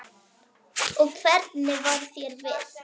Og hvernig varð þér við?